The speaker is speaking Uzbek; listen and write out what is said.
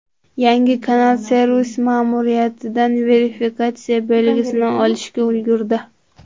Yangi kanal servis ma’muriyatidan verifikatsiya belgisini olishga ulgurdi.